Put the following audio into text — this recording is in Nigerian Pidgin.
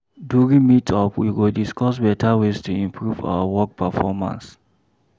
During meet-up, we go discuss beta ways to improve our work performance.